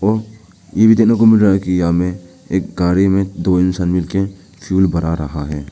ये भी देखने को मिल रहा है कि यहां में एक गाड़ी में दो इंसान मिलके फ्यूल भरा रहा है।